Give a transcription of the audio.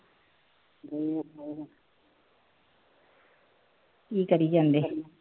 ਕੋਈ ਨਾ ਕੀ ਕਰੀ ਜਾਂਦੇ ਹੋ